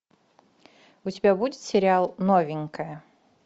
у тебя будет сериал новенькая